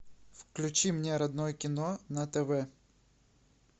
включи мне родное кино на тв